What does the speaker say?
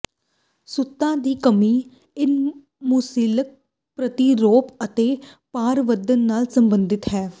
ਸੁੱਤਾ ਦੀ ਕਮੀ ਇਨਸੁਲਿਨ ਪ੍ਰਤੀਰੋਧ ਅਤੇ ਭਾਰ ਵਧਣ ਨਾਲ ਸੰਬੰਧਿਤ ਹੈ